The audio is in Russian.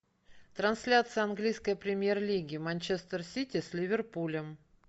трансляция английской премьер лиги манчестер сити с ливерпулем